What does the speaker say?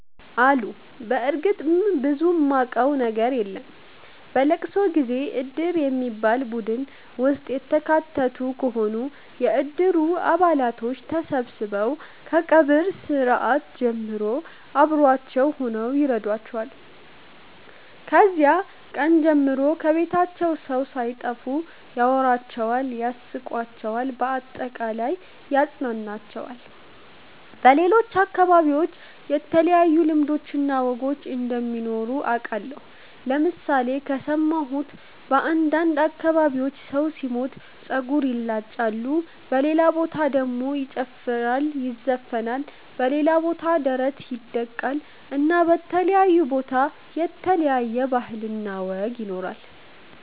አሉ በርግጥ ብዙም ማቀው ነገር የለም። በለቅሶ ጊዜ እድር በሚባል ቡድን ውስጥ የተካተቱ ከሆኑ የእድሩ አባላቶች ተሠብስበው ከቀብር ስርአት ጀምሮ አብሮዋቸው ሁነው ይረዷቸዋል። ከዚያ ቀን ጀምሮ ከቤታቸው ሠው ሣይጠፋ ያወራቸዋል ያስቃቸዋል በአጠቃላይ ያፅናናቸዋል። በሌሎች አከባቢዎች የተለዩ ልማዶች እና ወጎች እንደሚኖሩ አቃለሁ ለምሣሌ ከሠማሁት በአንዳንድ አከባቢዎች ሠው ሢሞት ጸጉር ይላጫሉ በሌላ በታ ደሞ ይጨፈራል ይዘፍናል በሌላ ቦታ ደሞ ደረት ይደቃል እና በተለያየ ቦታ የተለያየ ባህል እና ወግ ይኖራል።